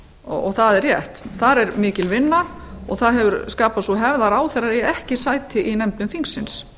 og það er rétt þar er mikil vinna og það hefur skapast sú hefð að ráðherrar eigi ekki sæti í nefndum þingsins